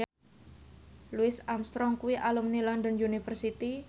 Louis Armstrong kuwi alumni London University